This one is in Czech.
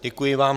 Děkuji vám.